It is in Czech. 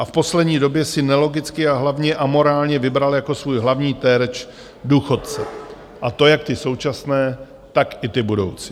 A v poslední době si nelogicky a hlavně amorálně vybral jako svůj hlavní terč důchodce, a to jak ty současné, tak i ty budoucí.